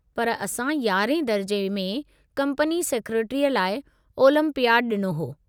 पर असां 11हें दर्जे में कंपनी सेक्रेटरीअ लाइ ओलंपियाडु ॾिनो हो।